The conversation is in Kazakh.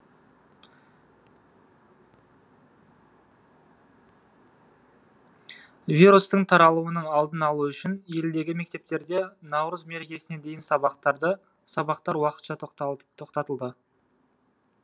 вирустың таралуының алдын алу үшін елдегі мектептерде наурыз мерекесіне дейін сабақтар уақытша тоқтатылды